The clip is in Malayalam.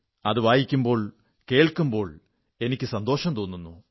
അത് വായിക്കുമ്പോൾ കേൾക്കുമ്പോൾ എനിക്ക് സന്തോഷം തോന്നുന്നു